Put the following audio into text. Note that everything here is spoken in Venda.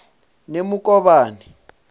nemukovhani